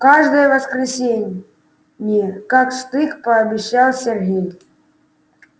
каждое воскресенье не как штык пообещал сергей